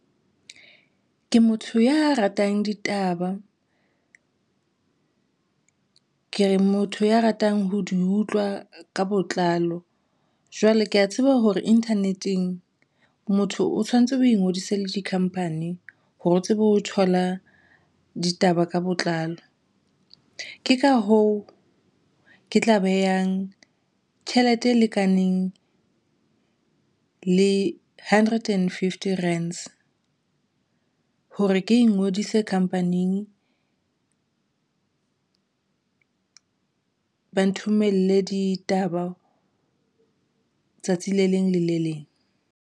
Ke motho ya ratang ditaba ke motho ya ratang ho di utlwa ka botlalo. Jwale ke ya tseba hore internet-eng motho o tshwanetse o ingodise le di-company hore o tsebe ho thola ditaba ka botlalo. Ke ka hoo ke tla behang tjhelete e lekaneng le hundred and fifty rands hore ke ngodise company-eng ba nthomelle ditaba tsatsi le leng le le leng.